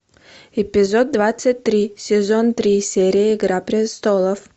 эпизод двадцать три сезон три серия игра престолов